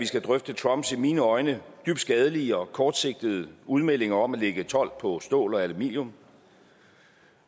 skal drøfte trumps i mine øjne dybt skadelige og kortsigtede udmeldinger om at lægge told på stål og aluminium